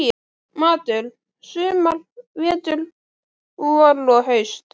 Matur: sumar, vetur, vor og haust.